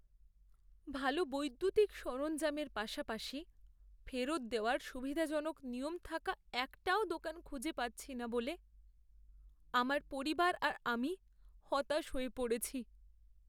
ভালো বৈদ্যুতিক সরঞ্জামের পাশাপাশি ফেরত দেওয়ার সুবিধাজনক নিয়ম থাকা একটাও দোকান খুঁজে পাচ্ছি না বলে আমার পরিবার আর আমি হতাশ হয়ে পড়েছি।